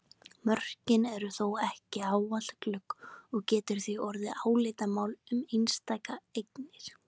Mörkin eru þó ekki ávallt glögg og getur því orðið álitamál um einstakar eignir.